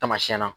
Tamasiɛn na